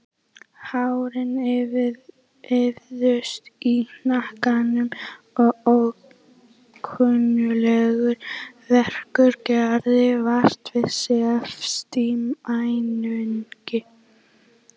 Hárin ýfðust í hnakkanum og ókunnuglegur verkur gerði vart við sig efst í mænunni.